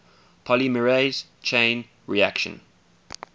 polymerase chain reaction